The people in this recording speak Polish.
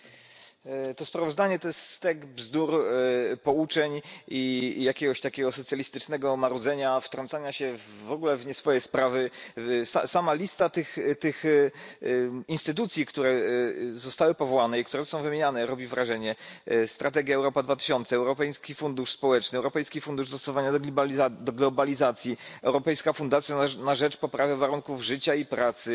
Pani Przewodnicząca! To sprawozdanie to jest stek bzdur, pouczeń i jakiegoś takiego socjalistycznego marudzenia, wtrącania się w ogóle w nieswoje sprawy. Sama lista tych instytucji, które zostały powołane i które są wymieniane, robi wrażenie strategia Europa 2020, Europejski Fundusz Społeczny, Europejski Fundusz Dostosowania do Globalizacji, Europejska Fundacja na rzecz Poprawy Warunków Życia i Pracy,